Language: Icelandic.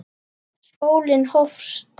Skólinn hófst.